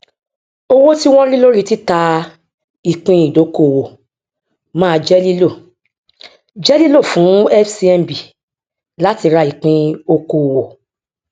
owó tí wọn rí lórí títà ìpín ìdókòwò máa jẹ lílò jẹ lílò fún fcmb láti ra ìpín òkòòwò